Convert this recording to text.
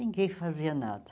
Ninguém fazia nada.